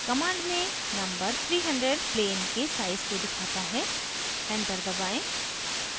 command में number 300 plane के size को दिखाता है enter दबाएं